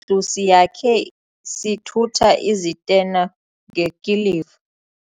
ndlu siyakhe sithutha izitena ngekiliva.